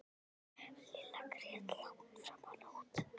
Lilla grét langt fram á nótt.